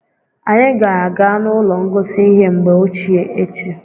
Anyị ga-aga n'ụlọ ngosi ihe mgbe ochie echi.